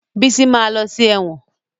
Bísí ma lọ sí ẹ̀wọ̀n